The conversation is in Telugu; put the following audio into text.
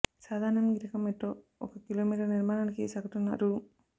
సాధారణంగా ఈ రకం మెట్రో ఒక కిలోమీటరు నిర్మాణానికి సగటున రూ